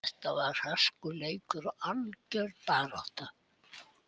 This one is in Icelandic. Þetta var hörkuleikur og algjör barátta.